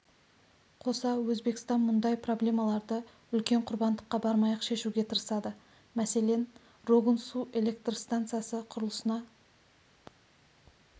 қоса өзбекстан мұндай проблемаларды үлкен құрбандыққа бармай-ақ шешуге тырысады мәселен рогун су электр стансасы құрылысына